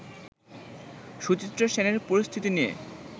সুচিত্রা সেনের পরিস্থিতি নিয়ে